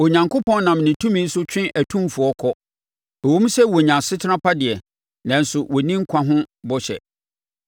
Onyankopɔn nam ne tumi so twe atumfoɔ kɔ; ɛwom sɛ wɔnya asetena pa deɛ, nanso wɔnni nkwa ho bɔhyɛ.